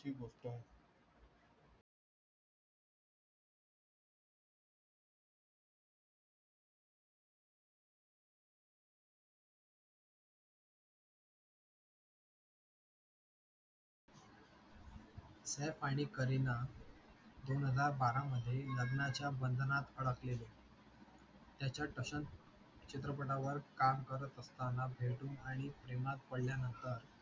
सैफ आणि करीना दोन हजार बारा मध्ये लग्नाच्या बंधनात अडकलेले त्यांच्या टशन चित्रपटा वर काम करत असताना भेटून आणि प्रेमात पडल्या नंतर